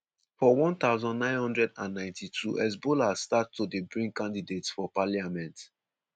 for 1992 hezbollah start to dey bring candidates for parliament.